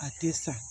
A tɛ sa